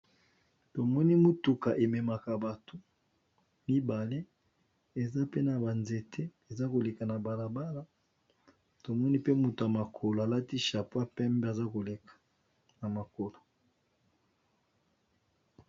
Tomoni mutuka ememaka bato mibale eza pe na banzete eza koleka na balabala tomoni pe motoya makolo alati chapoi pembe aza koleka na makolo.